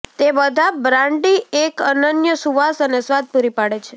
તે બધા બ્રાન્ડી એક અનન્ય સુવાસ અને સ્વાદ પૂરી પાડે છે